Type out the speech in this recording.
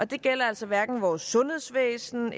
det gælder altså hverken vores sundhedsvæsen